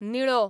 निळो